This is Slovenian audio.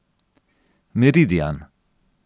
Meridian.